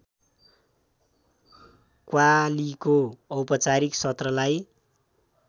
कव्वालीको औपचारिक सत्रलाई